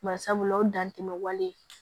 Bari sabula o dantɛmɛ wale